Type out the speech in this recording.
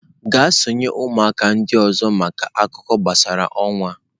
Gaa sonye ụmụaka ndị ọzọ maka akụkọ gbasara ọnwa!.